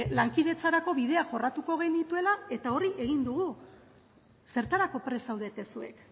lankidetzarako bidea jorratuko genuela eta hori egin dugu zertarako prest zaudete zuek